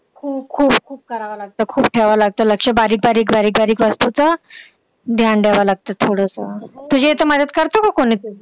हो खूप खूप खूप करावं लागतं, खूप ठेवावं लागतं लक्ष बारीक बारीक बारीक बारीक वस्तुचं ध्यान ठेवावं लागतं थोडंसं. तुझ्या इथं मदत करतं का कोणी तुझी?